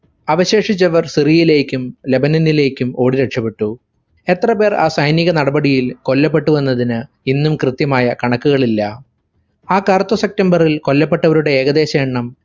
അവശേഷിച്ചവർ സിറിയിലേക്കും ലെബനനിലെക്കും ഓടി രക്ഷപ്പെട്ടു. എത്രപേർ ആ സൈനിക നടപടിയിൽ കൊല്ലപ്പെട്ടുവെന്നതിന് ഇന്നും കൃത്യമായ കണക്കുകളില്ല. ആ കറുത്ത september ഇൽ കൊല്ലപ്പെട്ടവരുടെ ഏകദേശ എണ്ണം